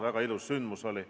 Väga ilus sündmus oli.